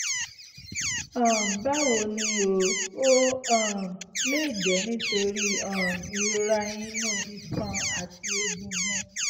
um báwo ni o? ó um lè jẹ́ nítorí um ìrora inú iṣan àti egungun